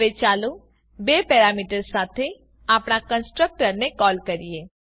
હવે ચાલો બે પેરામીટર્સ સાથે આપણા કન્સ્ટ્રક્ટરને કોલ કરીએ